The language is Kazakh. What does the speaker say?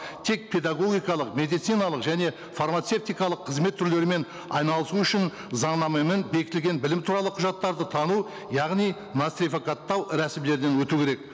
тек педагогикалық медициналық және фармацевтикалық қызмет түрлерімен айналысу үшін заңнамамен бекітілген білім туралы құжаттарды тану яғни нацификаттау рәсімдерден өту керек